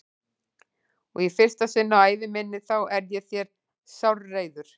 Og í fyrsta sinn á ævi minni þá er ég þér sárreiður.